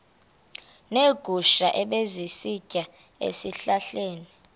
neegusha ebezisitya ezihlahleni